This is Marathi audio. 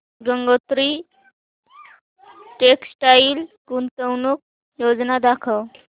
गंगोत्री टेक्स्टाइल गुंतवणूक योजना दाखव